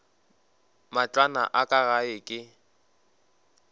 matlwana a ka gae ke